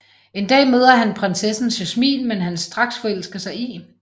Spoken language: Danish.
En dag møder han prinsessen Jasmin som han straks forelsker sig i